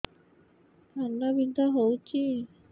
କାନ ବିନ୍ଧା ହଉଛି